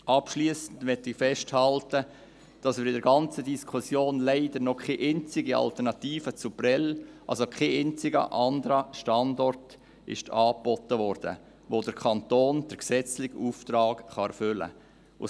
Abschliessend möchte ich festhalten, dass in der ganzen Diskussion leider noch keine einzige Alternative zu Prêles – kein einziger anderer Standort – angeboten worden ist, mit dem der Kanton den gesetzlichen Auftrag erfüllen kann.